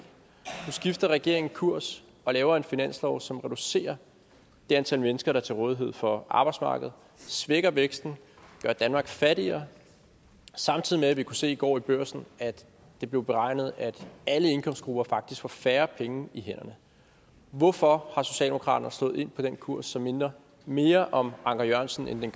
nu skifter regeringen kurs og laver en finanslov som reducerer det antal mennesker der er til rådighed for arbejdsmarkedet svækker væksten gør danmark fattigere samtidig med at vi kunne se i går i børsen at det blev beregnet at alle indkomstgrupper faktisk får færre penge i hænderne hvorfor er socialdemokraterne slået ind på den kurs som minder mere om anker jørgensen end den